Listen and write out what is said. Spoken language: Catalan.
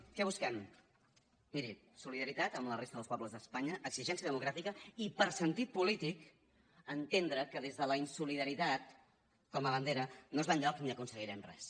què busquem miri solidaritat amb la resta dels pobles d’espanya exigència democràtica i per sentit polí tic entendre que des de la insolidaritat com a bandera no es va enlloc ni aconseguirem res